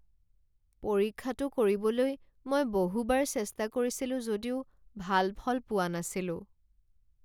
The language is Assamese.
পৰীক্ষাটো কৰিবলৈ মই বহুবাৰ চেষ্টা কৰিছিলোঁ যদিও ভাল ফল পোৱা নাছিলোঁ।